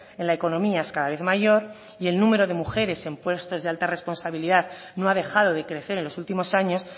en la economía es cada vez mayor y el número de mujeres en puestos de alta responsabilidad no ha dejado de crecer en los últimos años